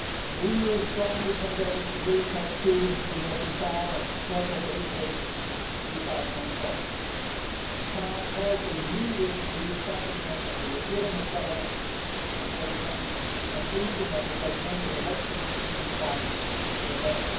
The EU strongly condemned the military coup in Guinea Bissau on 12 April 2012. We called for the immediate re establishment of the legitimate government and for the completion of the presidential elections in compliance with the law.